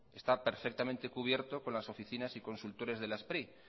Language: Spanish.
está perfectamente cubierto con las oficinas y consultores de la spri